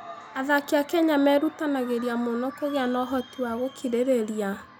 Athaki a Kenya merutanagĩria mũno kũgĩa na ũhoti wa gũkirĩrĩria.